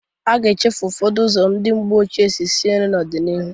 A ga-echefu ụfọdụ ụzọ ndị mgbe ochie si sie nri n'ọ dị n'ịrụ.